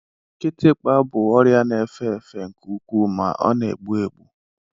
Kịtịkpa bụ ọrịa na-efe efe nke ukwuu ma o na-egbu egbu.